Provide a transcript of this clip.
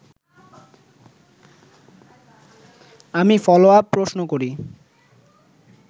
আমি ফলোআপ প্রশ্ন করি